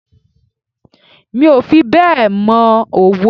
Mi ò fi bẹ́ẹ̀ mọ òwe.